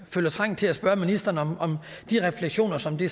føler trang til at spørge ministeren om de refleksioner som det